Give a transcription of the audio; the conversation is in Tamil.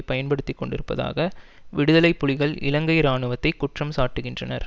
பயன்படுத்திக்கொண்டிருப்பதாக விடுதலை புலிகள் இலங்கை இராணுவத்தை குற்றம் சாட்டுகின்றனர்